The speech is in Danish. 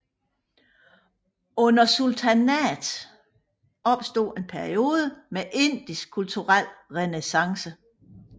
Under sultanatet opstod en periode med indisk kulturel renæssance